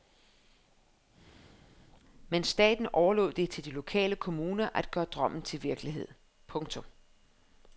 Men staten overlod det til de lokale kommuner at gøre drømmen til virkelighed. punktum